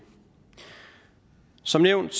som nævnt